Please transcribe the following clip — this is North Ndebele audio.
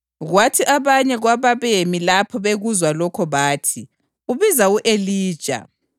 Kwathi abanye kwababemi lapho bekuzwa lokho bathi, “Ubiza u-Elija.”